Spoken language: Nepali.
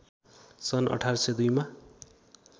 सन् १८०२ मा